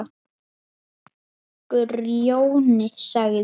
Grjóni sagði